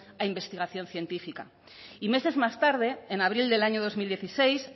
a investigación científica y meses más tarde en abril del año dos mil dieciséis